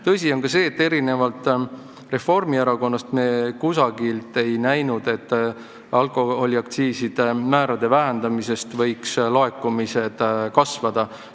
Tõsi on ka see, et erinevalt Reformierakonnast me ei näinud, et alkoholiaktsiiside määrade vähendamine võiks laekumisi kasvatada.